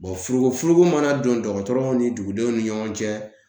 furugu furugu ma na don dɔgɔtɔrɔw ni dugudenw ni ɲɔgɔn cɛ